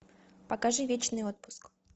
покажи вечный отпуск